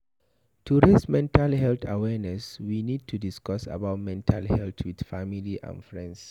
To raise mental health awareness, we need to discuss about mental health with family and friend